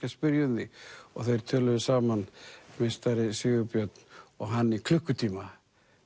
að spyrja um þig og þeir töluðu saman meistari Sigurbjörn og hann í klukkutíma